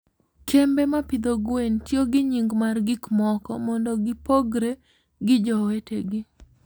kembe ma pidho gwen tiyo gi nying' mar gik moko mondo gipogre gi jowetegi.